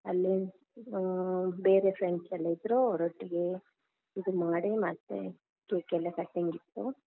ಅಲ್ಲಿ ಅಹ್ ಬೇರೆ friends ಎಲ್ಲಾ ಇದ್ರು ಅವ್ರೊಟ್ಟಿಗೆ ಇದು ಮಾಡಿ ಮತ್ತೆ cake ಎಲ್ಲಾ cutting ಇತ್ತು.